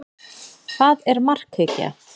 Hvað er markhyggja?